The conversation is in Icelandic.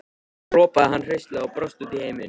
Svo ropaði hann hraustlega og brosti út í heiminn.